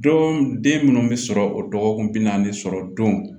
Don den minnu bɛ sɔrɔ o dɔgɔkun bi naani sɔrɔ don